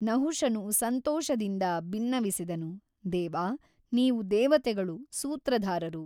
ನಹುಷನು ಸಂತೋಷದಿಂದ ಬಿನ್ನವಿಸಿದನು ದೇವ ನೀವು ದೇವತೆಗಳು ಸೂತ್ರಧಾರರು.